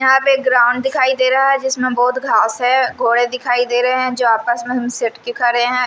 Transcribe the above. यहां पे ग्राउंड दिखाई दे रहा है जिसमें बहुत घास है घोड़े दिखाई दे रहे हैं जो आपस में हम सिटके खड़े हैं ।